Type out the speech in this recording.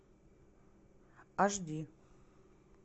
аш ди